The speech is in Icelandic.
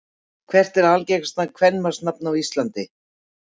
Hvert er algengasta kvenmannsnafn á Íslandi?